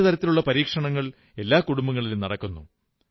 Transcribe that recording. പല തരത്തിലുള്ള പരീക്ഷണങ്ങൾ എല്ലാ കുടുംബങ്ങളിലും നടക്കുന്നു